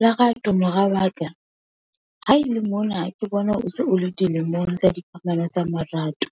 Lerato mora wa ka, ha ele mona ke bona o se o le dilemong tsa dikamano tsa marato,